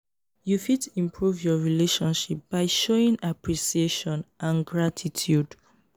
you fit improve your relationship by showing appreciation and gratitude.